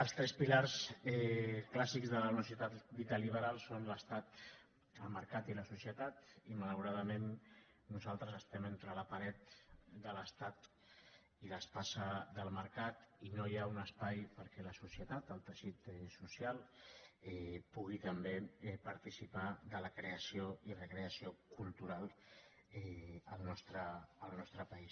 els tres pilars clàssics d’una societat dita liberal són l’estat el mercat i la societat i malauradament nosaltres estem entre la paret de l’estat i l’espasa del mercat i no hi ha un espai perquè la societat el teixit social pugui també participar de la creació i recreació cultural al nostre país